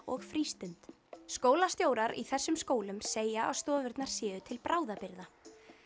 og frístund skólastjórar í þessum skólum segja að stofurnar séu til bráðabirgða